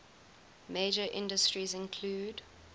major industries include